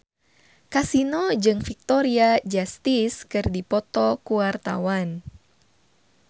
Kasino jeung Victoria Justice keur dipoto ku wartawan